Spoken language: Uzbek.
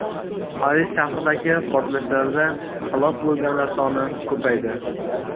Aris shahridagi portlashlarda halok bo‘lganlar soni ko‘paydi.